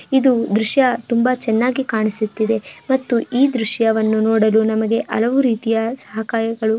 ಇದು ದೃಶ್ಯ ತುಂಬಾ ಚೆನ್ನಾಗಿ ಕಾಣಿಸುತ್ತಿದೆ ಮತ್ತು ಈ ದೃಶ್ಯವನ್ನು ನೋಡಲು ನಮಗೆ ಅಲವು ರೀತಿಯ ಸಹಕಾಯಗಳು --